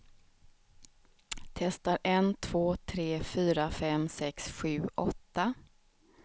Testar en två tre fyra fem sex sju åtta.